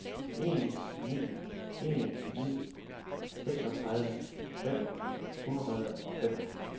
en ni en ni seksogtredive fem hundrede og fem